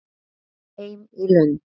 Heim í Lund.